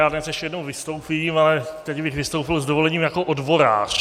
Já dnes ještě jednou vystoupím, ale teď bych vystoupil - s dovolením - jako odborář.